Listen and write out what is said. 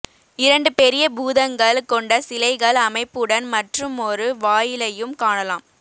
இரண்டு பெரிய பூதங்கள் கொண்ட சிலைகள் அமைப்புடன் மற்றுமொரு வாயிலையும் காணலாம்